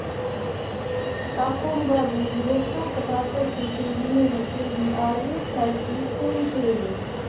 в каком году завершился процесс присоединения средней азии к российской империи